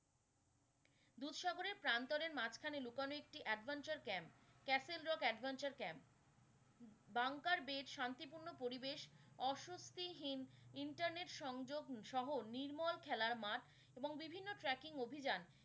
দুধ সাগরের প্রান্তরের মাঝখানে লুকানো একটি adventure camp castle rock adventure camp বাঙ্গার বেস শান্তিপূর্ণ পরিবেশ অস্বত্বিহীন internet সংযোগ সহ নির্মল খেলার মাঠ এবং বিভিন্ন tracking অভিযান।